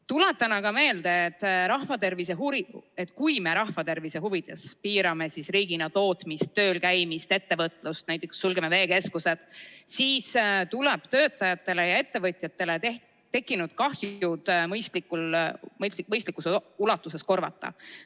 Tuletan aga meelde, et kui me rahva tervise huvides piirame riigina tootmist, tööl käimist, ettevõtlust, näiteks sulgeme veekeskused, siis tuleb töötajatele ja ettevõtjatele tekkinud kahju mõistlikus ulatuses korvata.